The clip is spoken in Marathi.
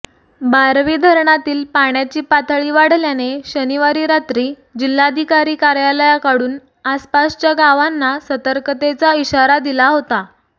बारवी धरणातील पाण्याची पातळी वाढल्याने शनिवारी रात्री जिल्हाधिकारी कार्यालयाकडून आसपासच्या गावांना सतर्कतेचा इशारा दिला होता